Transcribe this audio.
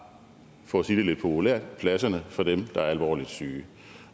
for at sige det lidt populært pladserne fra dem der er alvorligt syge